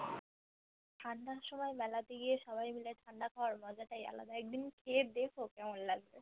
ঠান্ডার সময় মেলাতে গিয়ে সবাই মিলে ঠান্ডা খাবার মজাতাই আলাদা একদিন খেয়ে দেখো কেমন লাগে